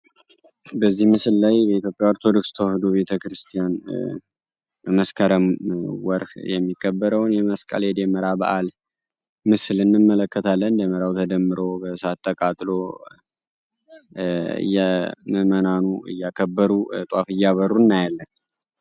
በዚህ ምስል ላይ የኢትዮጵያ ኦርቶዶክስ ቤተክርስቲያን መስከረም የሚከበረውን የመስቀል የደመራ በዓል ምስል እንመለከታለን። ደመራው ተደምሮ በሳት ተቃጥሎ ምዕመናኑ እያከበሩ ጧፍ እያበሩ እናያለን።